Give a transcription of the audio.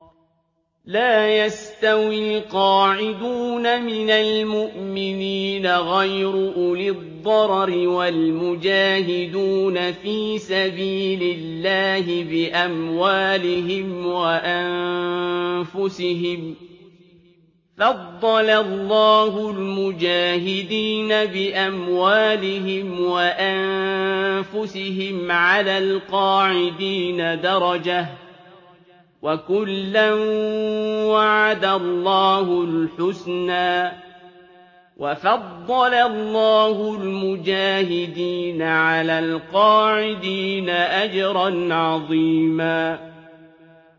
لَّا يَسْتَوِي الْقَاعِدُونَ مِنَ الْمُؤْمِنِينَ غَيْرُ أُولِي الضَّرَرِ وَالْمُجَاهِدُونَ فِي سَبِيلِ اللَّهِ بِأَمْوَالِهِمْ وَأَنفُسِهِمْ ۚ فَضَّلَ اللَّهُ الْمُجَاهِدِينَ بِأَمْوَالِهِمْ وَأَنفُسِهِمْ عَلَى الْقَاعِدِينَ دَرَجَةً ۚ وَكُلًّا وَعَدَ اللَّهُ الْحُسْنَىٰ ۚ وَفَضَّلَ اللَّهُ الْمُجَاهِدِينَ عَلَى الْقَاعِدِينَ أَجْرًا عَظِيمًا